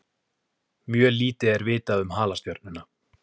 Mjög lítið er vitað um halastjörnuna.